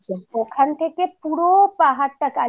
কারণ ওখান থেকে পুরো পাহাড়টা কালিম্পঙের